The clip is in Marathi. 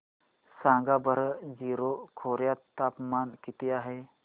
सांगा बरं जीरो खोर्यात तापमान किती आहे